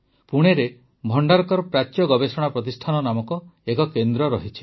ପୁଣେରେ ଭଣ୍ଡାରକର ପ୍ରାଚ୍ୟ ଗବେଷଣା ପ୍ରତିଷ୍ଠାନ ନାମକ ଏକ କେନ୍ଦ୍ର ରହିଛି